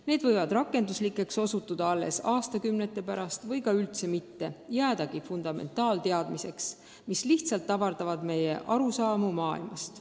Need võivad rakendatavaks osutuda alles aastakümnete pärast või ka üldse mitte, jäädagi fundamentaalteadmisteks, mis lihtsalt avardavad meie arusaamu maailmast.